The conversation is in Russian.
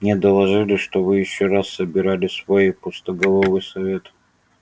мне доложили что вы ещё раз собирали свой пустоголовый совет